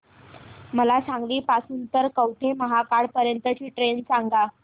मला सांगली पासून तर कवठेमहांकाळ पर्यंत ची ट्रेन सांगा